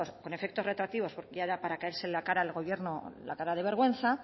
con efectos retroactivos porque ya era para caérsele al gobierno la cara de vergüenza